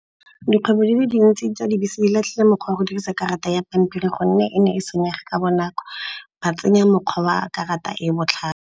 Dikgwebo di le dintsi tsa dibese di latlhile mokgwa wa go dirisa karata ya pampiri gonne e ne e senyega ka bonako. Ba tsenya mokgwa wa a karata e e botlhale.